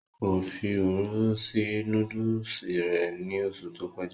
Kò fi òróró sí núdùsì rẹ̀ ní oṣù tó kọjá